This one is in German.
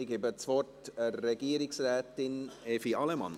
Ich gebe das Wort Regierungsrätin Evi Allemann.